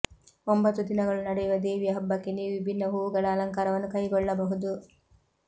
ಒಂಬತ್ತು ದಿನಗಳು ನಡೆಯುವ ದೇವಿಯ ಹಬ್ಬಕ್ಕೆ ನೀವು ವಿಭಿನ್ನ ಹೂವುಗಳ ಅಲಂಕಾರವನ್ನು ಕೈಗೊಳ್ಳಬಹುದು